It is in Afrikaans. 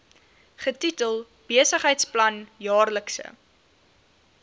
getitel besigheidsplan jaarlikse